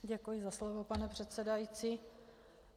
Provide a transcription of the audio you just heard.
Děkuji za slovo, pane předsedající.